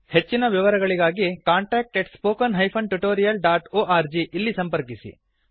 ಹೆಚ್ಚಿನ ವಿವರಗಳಿಗಾಗಿ contact at spoken hyphen tutorial dot org ಇಲ್ಲಿ ಸಂಪರ್ಕಿಸಿ